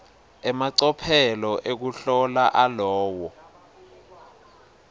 emacophelo ekuhlola alowo